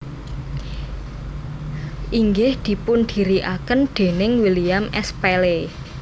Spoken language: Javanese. inggih dipundhirikaken déning William S Paley